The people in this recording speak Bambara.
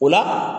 O la